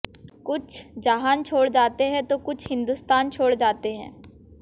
कुछ जहान छोड़ जाते हैं तो कुछ हिंदुस्तान छोड़ जाते हैं